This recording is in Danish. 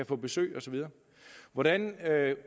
få besøg osv hvordan